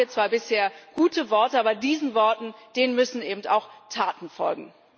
Da haben wir zwar bisher gute Worte, aber diesen Worten müssen eben auch Taten folgen.